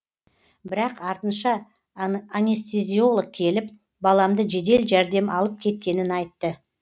бірақ артынша анестезиолог келіп баламды жедел жәрдем алып кеткенін айтты